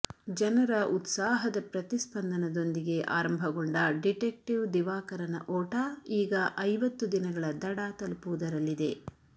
ಜನರ ಉತ್ಸಾಹದ ಪ್ರತಿಸ್ಪಂದನದೊಂದಿಗೆ ಆರಂಭಗೊಂಡ ಡಿಟೆಕ್ಟಿವ್ ದಿವಾಕರನ ಓಟ ಈಗ ಐವತ್ತು ದಿನಗಳ ದಡ ತಲುಪುವುದರಲ್ಲಿದೆ